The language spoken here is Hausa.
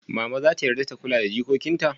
Mama zata yarda ta kula da jikokin ta?